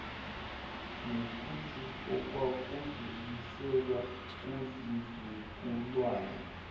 nethusi okwakudluliselwa kuzizukulwane